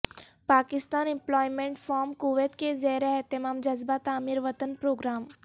Pakistan employment forum Kuwait کے زیر اہتمام جذبہ تعمیر وطن پروگرام